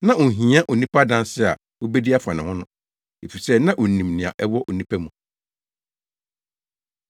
Na onhia onipa adanse a obedi afa onipa ho, efisɛ na onim nea ɛwɔ onipa mu.